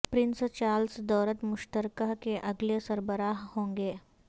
prince Charles دولت مشترکہ کے اگلے سربراہ ہوں گے